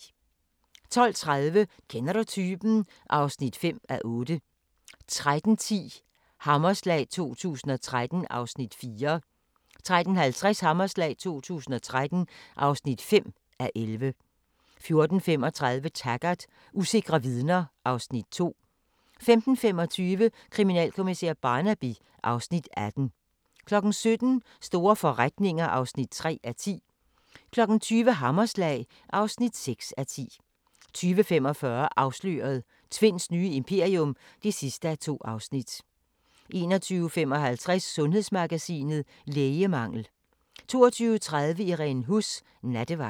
12:30: Kender du typen? (5:8) 13:10: Hammerslag 2013 (4:11) 13:50: Hammerslag 2013 (5:11) 14:35: Taggart: Usikre vidner (Afs. 2) 15:25: Kriminalkommissær Barnaby (Afs. 18) 17:00: Store forretninger (3:10) 20:00: Hammerslag (6:10) 20:45: Afsløret – Tvinds nye imperium (2:2) 21:55: Sundhedsmagasinet: Lægemangel 22:30: Irene Huss: Nattevagt